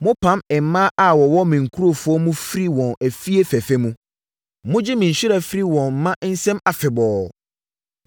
Mopam mmaa a wɔwɔ me nkurɔfoɔ mu firi wɔn afie fɛfɛ mu. Mogye me nhyira firi wɔn mma nsam afebɔɔ.